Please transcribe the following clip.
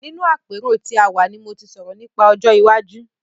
Nínú àpérò tí a wà ni mo ti sọ̀rọ̀ nípa ọjọ́ iwájú.